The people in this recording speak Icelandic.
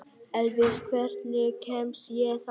Elvis, hvernig kemst ég þangað?